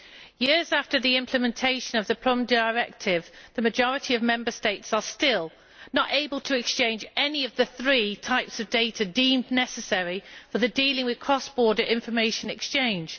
Years after the implementation of the Prüm Decision, the majority of Member States are still not able to exchange any of the three types of data deemed necessary for dealing with cross border information exchange.